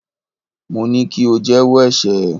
Mo ní kí o jẹ́wọ́ ẹ̀ṣẹ̀ ẹ.!